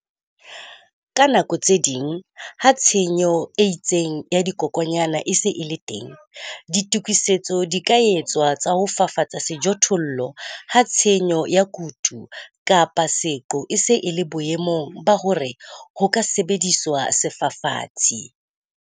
Ka nako tse ding, ha tshenyo e itseng ya dikokwanyana e se e le teng, ditokisetso di ka etswa tsa ho fafatsa sejothollo ha tshenyo ya kutu kapa seqo e se e le boemong ba hore ho ka sebediswa sefafatsi.